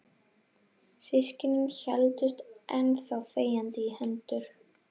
Systkinin héldust enn þá þegjandi í hendur.